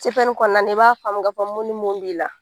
kɔnɔna na i b'a faamu k'a fɔ mun ni mun b'i la